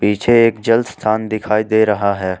पीछे एक जल स्थान दिखाई दे रहा है।